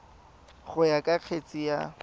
go ya ka kgetse ka